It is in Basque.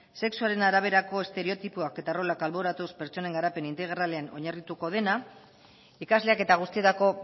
sexuaren araberako estereotipoak eta rolak alboratuz pertsonan garapen integralean oinarrituko dena ikasleak eta guztietako